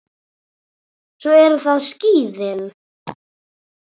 Svo eru það skíðin.